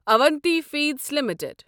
Avanti feeds limited